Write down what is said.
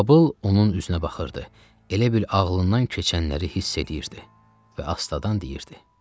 Babıl onun üzünə baxırdı, elə bil ağlından keçənləri hiss eləyirdi və astadan deyirdi: